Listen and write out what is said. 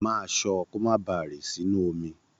Máa ṣọ́, kó má ba rì sínú omi.